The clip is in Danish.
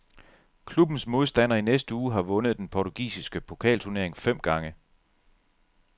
Klubbens modstander i næste uge har vundet den portugisiske pokalturnering fem gange.